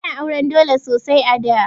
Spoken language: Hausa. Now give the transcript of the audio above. Ana auran dole sosai a da.